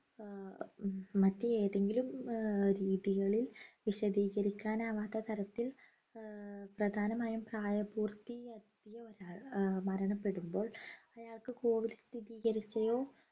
ആഹ് മറ്റ് ഏതെങ്കിലും ആഹ് രീതികളിൽ വിശദീകരിക്കാൻ ആവാത്ത തരത്തിൽ ആഹ് പ്രധാനമായും പ്രായപൂർത്തി എത്തിയ ഒരാൾ ആഹ് മരണപ്പെടുമ്പോൾ അയാൾക്ക് COVID സ്ഥിരീകരിക്കുകയോ